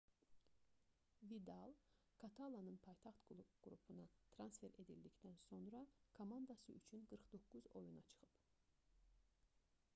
vidal katalanın paytaxt klubuna transfer edildikdən sonra komandası üçün 49 oyuna çıxıb